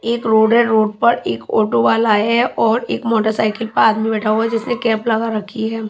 एक रोड है रोड पर एक ऑटो वाला है और एक मोटरसाइकिल पर आदमी बैठा हुआ जिसने कैप लगा रखी है।